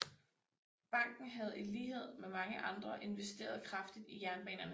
Banken havde i lighed med mange andre investeret kraftigt i jernbanerne